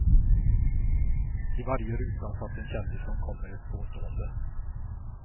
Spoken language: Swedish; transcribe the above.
I varje ruta satt en kändis som kom med ett påstående.